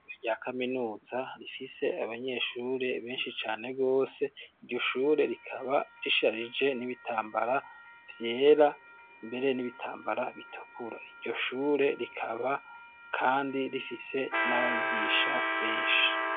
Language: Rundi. Ishure rya kaminuza, rifise abanyeshure benshi cane gose. Iryo shure rikaba risharije n'ibitambara vyera, mbere n'ibitambara bitukura, iryo shure rikaba kandi rifise n'abigisha benshi.